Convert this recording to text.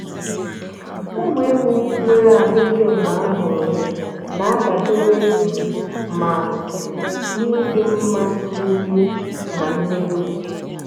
ụmụ ewu nwéré ahụike mgbe a mụrụ ya na-adabere um ma um n'ịdị mma mkpi um na nne ewu